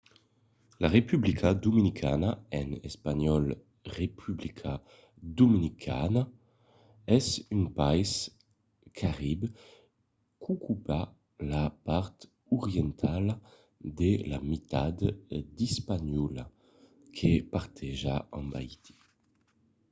la republica dominicana en espanhòl: república dominicana es un país carib qu'ocupa la part orientala de la mitat d'hispaniola que parteja amb haiti